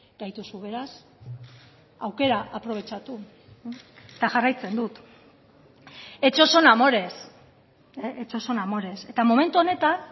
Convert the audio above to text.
gaituzu beraz aukera aprobetxatu eta jarraitzen dut hechos son amores hechos son amores eta momentu honetan